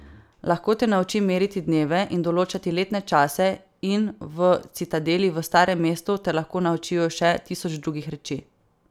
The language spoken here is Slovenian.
Lahko te naučim meriti dneve in določati letne čase in v citadeli v Starem mestu te lahko naučijo še tisoč drugih reči.